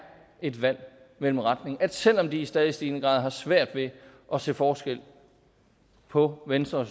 et valg mellem retninger selv om de i stadig stigende grad har svært ved at se forskel på venstre og